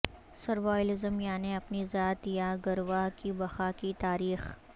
survivalism یعنی اپنی ذات یا گروہ کی بقا کی تاریخ